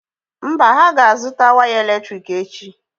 Mba, ha ga-azụta waya èlétrị̀k echi.